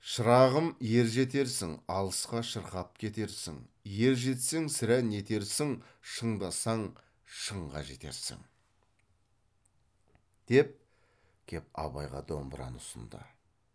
шырағым ержетерсің алысқа шырқап кетерсің ержетсең сірә нетерсің шындасаң шыңға жетерсің деп кеп абайға домбыраны ұсынды